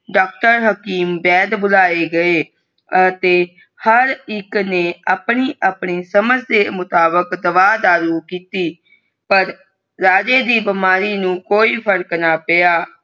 Doctor ਹਕੀਮ ਵੈਦ ਬੁਲਾਏ ਗਏ ਅਤੇ ਹਰ ਇਕ ਨੇ ਆਪਣੀ ਆਪਣੀ ਸਮਝ ਦੇ ਮੁਤਾਬਿਕ ਦਵਾ ਦਾਰੂ ਕੀਤੀ ਪਰ ਰਾਜੇ ਦੀ ਬਿਮਾਰੀ ਨੂੰ ਕੋਈ ਫਰਕ ਨਾ ਪੇਯਾ।